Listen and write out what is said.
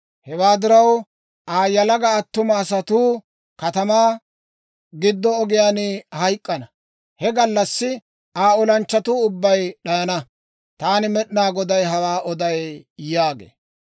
Hewaa diraw, Aa yalaga attuma asatuu katamaa giddo ogiyaan hayk'k'ana; he gallassi Aa olanchchatuu ubbay d'ayana. Taani Med'inaa Goday hawaa oday» yaagee.